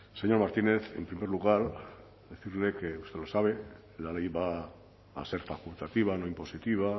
señor martínez en primer lugar decirle que usted lo sabe la ley va a ser facultativa no impositiva